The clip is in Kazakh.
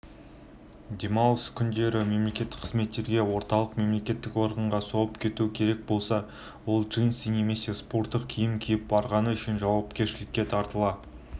демалыс күндері мемлекеттік қызметкерге орталық мемлекеттік органға соғып кету керек болса ол джинсы немесе спорттық киім киіп барғаны үшін жауапкершілікке тартыла